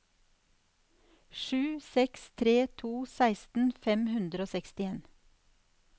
sju seks tre to seksten fem hundre og sekstien